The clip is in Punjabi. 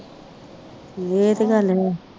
ਏਹ ਤੇ ਗੱਲ ਹੈ